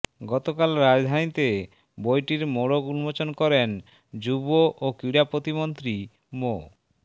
গতকাল রাজধানীতে বইটির মোড়ক উন্মোচন করেন যুব ও ক্রীড়া প্রতিমন্ত্রী মো